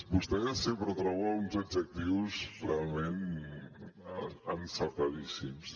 vostè sempre troba uns adjectius realment encertadíssims